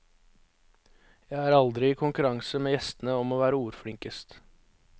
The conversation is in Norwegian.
Jeg er aldri i konkurranse med gjestene om å være ordflinkest.